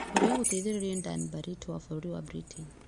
ũrĩa ũgũteithĩrĩrio nĩ Dan Barritt wa bũrũri wa Britain.